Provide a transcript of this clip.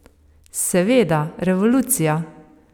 Seveda, revolucija.